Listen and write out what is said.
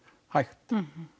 hægt